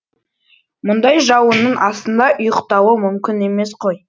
мұндай жауынның астында ұйықтауы мүмкін емес қой